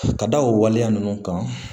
Ka da o waleya ninnu kan